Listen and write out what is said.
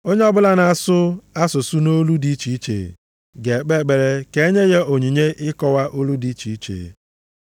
Onye ọbụla na-asụ asụsụ nʼolu dị iche iche, ga-ekpe ekpere ka e nye ya onyinye ịkọwa olu dị iche iche.